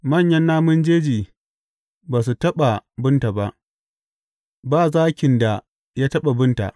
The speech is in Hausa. Manyan namun jeji ba su taɓa binta ba, ba zakin da ya taɓa binta.